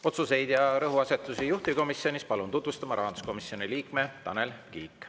Otsuseid ja rõhuasetusi juhtivkomisjonis palun tutvustama rahanduskomisjoni liikme Tanel Kiige.